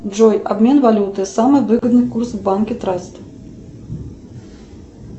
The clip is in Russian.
джой обмен валюты самый выгодный курс в банке траст